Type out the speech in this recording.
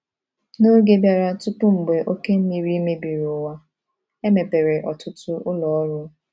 N’oge bịara tupu mgbe oke mmiri mebiri uwa, e mepere ọtụtụ ụlọ ọrụ.